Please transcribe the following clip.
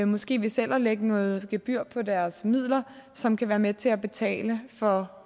måske ved selv at lægge noget gebyr på deres midler som kan være med til at betale for